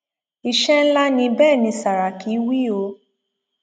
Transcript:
iṣẹ ńlá ni bẹẹ ni sàràkí wí o